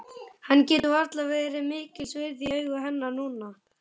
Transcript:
Hann getur varla verið mikils virði í augum hennar núna.